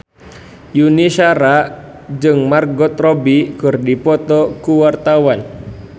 Yuni Shara jeung Margot Robbie keur dipoto ku wartawan